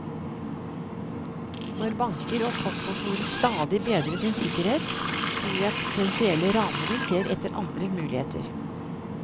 Når banker og postkontorer stadig bedrer sin sikkerhet, tror jeg potensielle ranere ser etter andre muligheter.